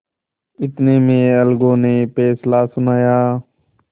इतने में अलगू ने फैसला सुनाया